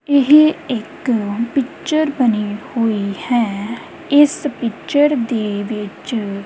ਇਹ ਇੱਕ ਪਿਕਚਰ ਬਣੀ ਹੋਈ ਹੈ ਇਸ ਪਿਚਰ ਦੇ ਵਿੱਚ--